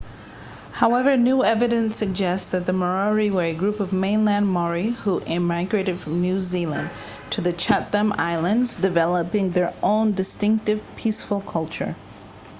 however new evidence suggests that the moriori were a group of mainland maori who migrated from new zealand to the chatham islands developing their own distinctive peaceful culture